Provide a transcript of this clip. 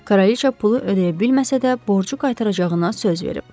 Kraliça pulu ödəyə bilməsə də, borcu qaytaracağına söz verib.